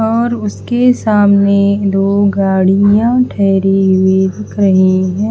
और उसके सामने दो गाड़ियां ठहरी हुई दिख रही है।